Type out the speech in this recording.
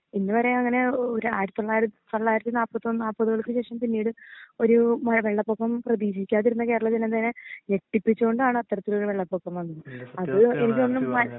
ഇന്ന് വരെ അങ്ങനെ ഒര് ആയിരത്തി തൊള്ളായിര തൊള്ളായിരത്തിനാപ്പത്തൊന്ന് നാപ്പതുകൾക്ക് ശേഷം പിനീട് ഒരൂ ഭ വെള്ളപ്പൊക്കം പ്രേതീക്ഷിക്കാതിരുന്ന കേരളം പിന്നെന്തിന് ഞെട്ടിപ്പിച്ചോണ്ടാണ് അത്രത്തിലൊരു വെള്ളപൊക്കം വന്നത് അത് എനിക്ക് തോന്നുന്നു